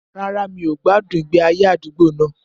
Rárá, mi ò gbádùn ìgbé ayé àdúgbò náà